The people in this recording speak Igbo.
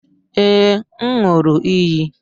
Ee, m ṅụụrụ iyi